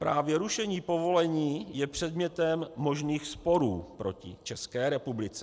Právě rušení povolení je předmětem možných sporů proti České republice.